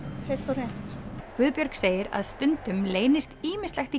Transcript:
heilt og hreint Guðbjörg segir að stundum leynist ýmislegt í